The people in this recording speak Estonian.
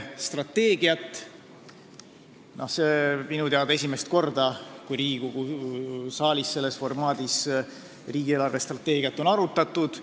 See oli minu teada esimest korda, enne pole Riigikogu saalis selles formaadis riigi eelarvestrateegiat arutatud.